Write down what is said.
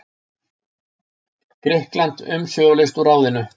Grikkland umsvifalaust úr ráðinu.